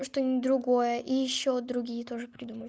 что-нибудь другое и ещё другие тоже придумай